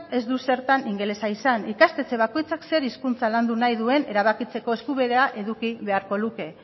ez du zertan ingelesa izan ikastetxe bakoitzak zer hizkuntza landu nahi duen erabakitzeko eskubidea eduki beharko luke